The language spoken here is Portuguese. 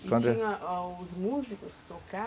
E tinha os músicos